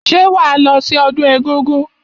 Ṣé wàá lọ sí ọdún egúngún?